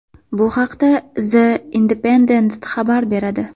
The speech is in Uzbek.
Bu haqda The Independent xabar beradi .